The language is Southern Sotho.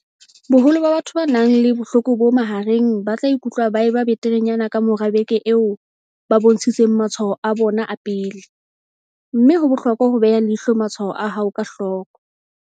Boholo ba batho ba nang le bohloko bo mahareng ba tla ikutlwa ba eba beterenyana ka mora beke eo ba bontshitseng matshwao a bona a pele, empa ho bohlokwa ho beha leihlo matshwao a hao ka hloko.